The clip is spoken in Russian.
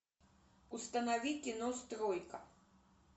установи кино стройка